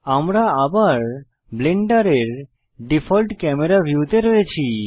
আমরা আবার ব্লেন্ডারের ডিফল্ট ক্যামেরা ভিউ তে রয়েছি